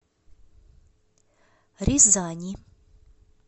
рязани